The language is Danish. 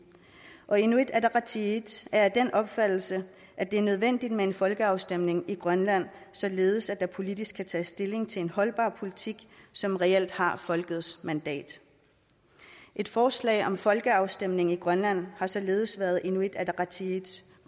og inuit ataqatigiit er af den opfattelse at det er nødvendigt med en folkeafstemning i grønland således at der politisk kan tages stilling til en holdbar politik som reelt har folkets mandat et forslag om folkeafstemning i grønland har således været inuit ataqatigiits